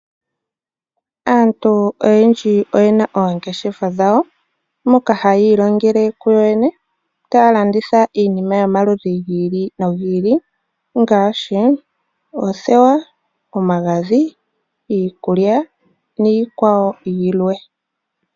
Aantu oyendji oyena oongeshefa dhawo, mpoka ha yiilongele kuyo mwene ,taya landitha iinima yomaludhi gi ili nogi ili ngaashi; oothewa, omagadhi ,iikulya ,niikwawo yilwe.